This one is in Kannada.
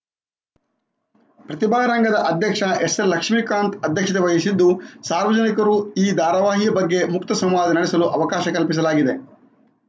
ಪ್ರತಿಭಾರಂಗದ ಅಧ್ಯಕ್ಷ ಎಸ್‌ಎಲ್‌ಲಕ್ಷ್ಮಿಕಾಂತ್‌ ಅಧ್ಯಕ್ಷತೆ ವಹಿಸಿದ್ದು ಸಾರ್ವಜನಿಕರು ಈ ಧಾರವಾಹಿಯ ಬಗ್ಗೆ ಮುಕ್ತ ಸಂವಾದ ನಡೆಸಲು ಅವಕಾಶ ಕಲ್ಪಿಸಲಾಗಿದೆ